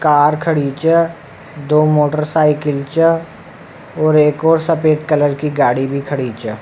Car खड़ी छ दो मोटरसाइकिल छ और एक और सफ़ेद कलर की गाड़ी भी खड़ी छ।